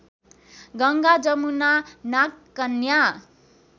Ganga Jamuna नागकन्या